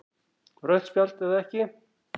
Rautt spjald eða ekki?